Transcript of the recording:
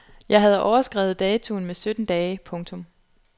Jeg havde overskredet datoen med sytten dage. punktum